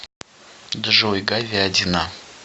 джой говядина